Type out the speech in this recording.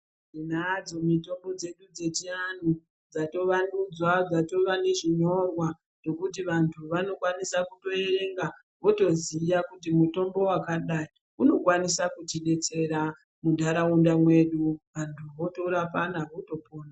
Tinadzo mitombo dzedu dzechiantu, dzatovandudzwa dzatova nezvinyorwa zvekuti vantu vanokwanisa kutoverenga votoziya kuti mutombo wakati unokwanisa kutidetsera muntaraunda mwedu vantu votorapana votopora.